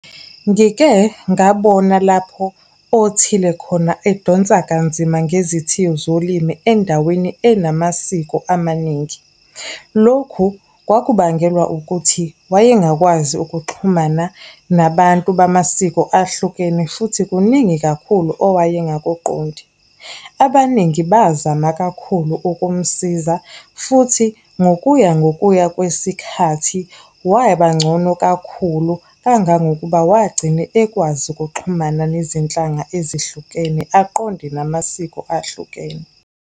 Ngike ngabona lapho othile khona edonsa kanzima ngezithiyo zolimi endaweni enamasiko amaningi. Lokhu kwakubangelwa ukuthi wayengakwazi ukuxhumana nabantu bamasiko ahlukene futhi kuningi kakhulu owaye ngakuqondi. Abaningi bazama kakhulu ukumsiza, futhi ngokuya ngokuya kwesikhathi, wabangcono kakhulu kangangokuba wagcine ekwazi ukuxhumana nezinhlanga ezihlukene, aqonde namasiko ahlukene.